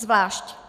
Zvlášť.